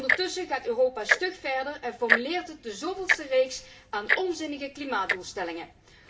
Ondertussen gaat Europa stug verder en formuleert het de zoveelste reeks onzinnige klimaatdoelstellingen.